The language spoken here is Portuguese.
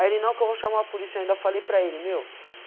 Aí ele não que eu vou chamar a polícia, eu ainda falei para ele, meu.